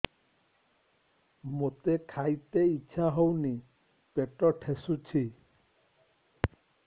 ମୋତେ ଖାଇତେ ଇଚ୍ଛା ହଉନି ପେଟ ଠେସୁଛି